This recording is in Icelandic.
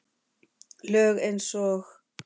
Lög eins og